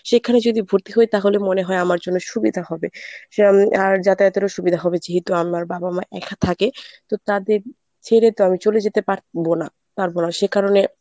সেখানে যদি ভর্তি হই তাহলে মনে হয় আমার জন্য সুবিধা হবে সেরম আর যাতায়াতেরও সুবিধা হবে যেহেতু আমার বাবা মা একা থাকে তো তাদের ছেড়ে তো আমি চলে যেতে পারবো না পারব না সে কারণে